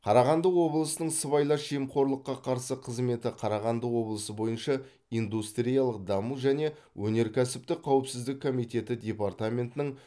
қарағанды облысының сыбайлас жемқорлыққа қарсы қызметі қарағанды облысы бойынша индустриялық даму және өнеркәсіптік қауіпсіздік комитеті департаментінің